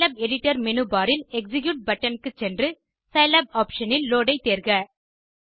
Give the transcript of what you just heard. Scilab editor menu bar இல் execute button க்கு சென்று சிலாப் ஆப்ஷன் இல் லோட் ஐ தேர்க